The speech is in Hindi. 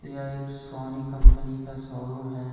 यह एक सोनी कंपनी का शोरूम है।